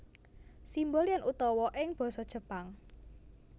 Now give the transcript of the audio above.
Simbol yen utawa ing basa Jepang